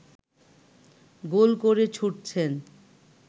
গোল করে ছুটছেন